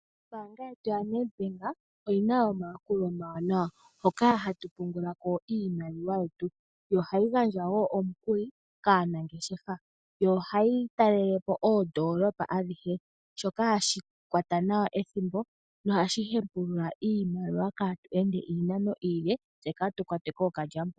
Ombaanga yetu yoNedbank, oyina omayakulo omawanawa. Hoka ohatu pungula ko iimaliwa yetu, yo ohayi gandja wo omukuli kaanangeshefa. Ohayi talelepo oondolopa adhihe, shoka hashi kwata nawa ethimbo, nohashi hepulula iimaliwa, kaatu ende iinano iile tse kaatu kwatwe kookalyamupombo.